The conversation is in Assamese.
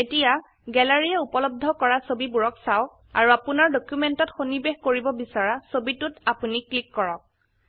এতিয়া গেলাৰী য়ে উপলব্ধ কৰা ছবিবোৰক চাওক আৰু আপোনাৰ ডকিউমেন্টত সন্নিবেশ কৰিব বিছৰা ছবিটোত আপোনি ক্লিক কৰক